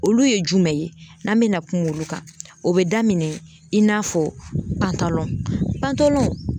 Olu ye jumɛn ye n'an bena kuma olu kan o be daminɛ i n'a fɔ pantalɔn pantalɔn